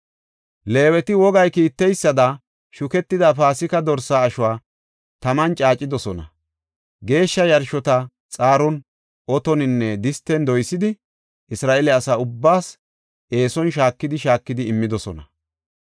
Leeweti wogay kiitteysada shuketida Paasika dorsaa ashuwa taman caacidosona; geeshsha yarshota xaaron, otoninne disten doysidi, Isra7eele asa ubbaas eeson shaakidi shaakidi immidosona.